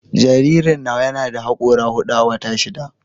Jaririn nawa yana da hakora hudu a wata shida